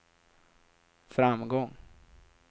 framgång